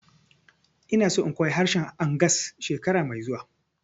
Ina so in koya harshen Angas shekara mai zuwa